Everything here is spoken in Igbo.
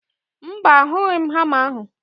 Mba, ahụghị m hama ahụ